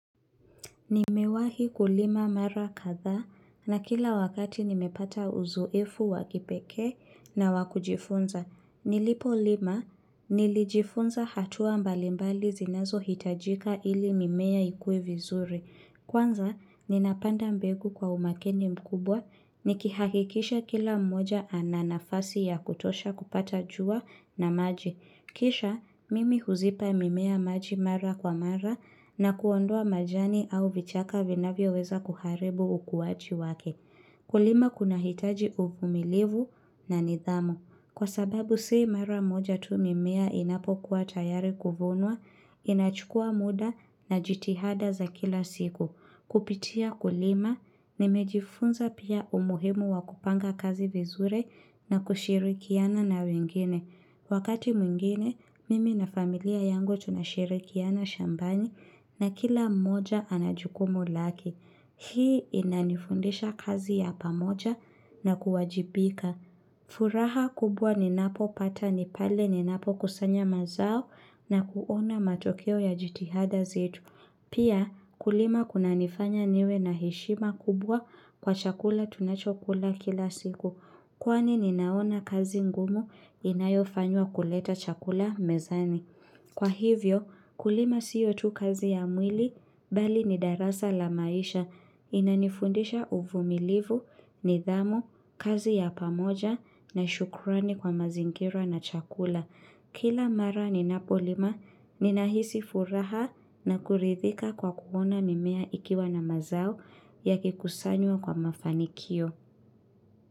Nimewahi kulima mara kathaa na kila wakati nimepata uzoefu wa kipekee na wa kujifunza. Nilipo lima, nilijifunza hatua mbalimbali zinazo hitajika ili mimea ikue vizuri. Kwanza, ninapanda mbegu kwa umakini mkubwa nikihakikisha kila mmoja ananafasi ya kutosha kupata jua na maji. Kisha, mimi huzipa mimea maji mara kwa mara na kuondua majani au vichaka vinavyoweza kuharibu ukuwaji wake. Kulima kunahitaji uvumilivu na nidhamu. Kwa sababu sii mawa moja tu mimea inapokuwa tayari kuvunwa, inachukua muda na jitihada za kila siku. Kupitia kulima, nimejifunza pia umuhimu wa kupanga kazi vizuri na kushirikiana na wengine. Wakati mwingine, mimi na familia yangu tunashirikiana shambani na kila moja anajukumu lake. Hii inanifundisha kazi ya pamoja na kuwajibika. Furaha kubwa ninapo pata nipale ninapo kusanya mazao na kuona matokeo ya jitihada zetu. Pia kulima kunanifanya niwe na heshima kubwa kwa chakula tunachokula kila siku kwani ninaona kazi ngumu inayofanywa kuleta chakula mezani. Kwa hivyo, kulima sio tu kazi ya mwili, bali ni darasa la maisha, inanifundisha uvumilivu, nidhamu, kazi ya pamoja, na shukurani kwa mazingira na chakula. Kila mara ninapolima, ninahisi furaha na kuridhika kwa kuona mimea ikiwa na mazao yakikusanywa kwa mafanikio.